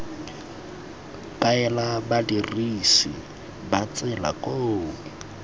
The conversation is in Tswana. kaela badirisi ba tsela koo